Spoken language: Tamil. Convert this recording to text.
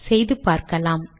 செய்து பார்க்கலாம்